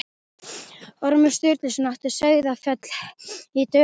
Ormur Sturluson átti Sauðafell í Dölum.